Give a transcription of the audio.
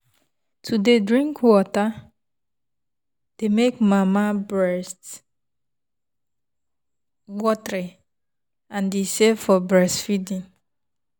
to dey drink water dey give mama strength and e safe for breastfeeding.